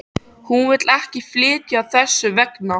Hún vill ekki flytja þess vegna.